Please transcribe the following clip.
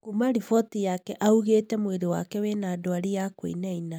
Kuuma riboti yake augĩte mwĩri wake wĩna ndwari ya kuinaina